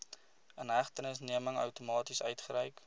inhegtenisneming outomaties uitgereik